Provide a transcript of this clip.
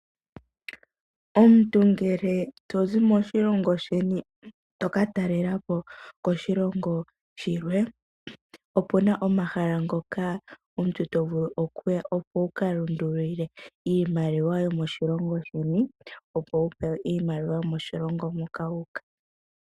Omuntu ngele to zi moshilongo shoye toka talelapo koshilongo shilwe , opuna omahala ngoka omuntu ho vulu okuya opo wuka lundulule iimaliwa yomoshilongo sheni opo wupe we iimaliwa yomoshilongo moka wuuka.